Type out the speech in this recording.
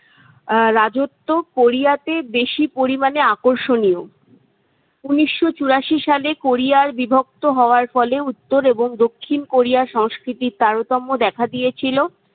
রাজত্ব কোরিয়াতে বেশি পরিমাণে আকর্ষণীয়। উন্নিশশো চুরাশি সালে কোরিয়ার বিভক্ত হওয়ার ফলে উত্তর এবং দক্ষিণ কোরিয়ার সংস্কৃতির তারোতম্য দেখা দিয়েছিল।